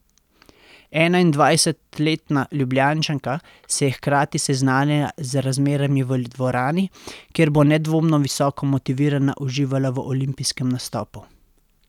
Enaindvajsetletna Ljubljančanka se je hkrati seznanila z razmerami v dvorani, kjer bo nedvomno visoko motivirana uživala v olimpijskem nastopu.